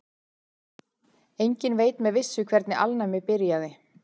Enginn veit með vissu hvernig alnæmi byrjaði.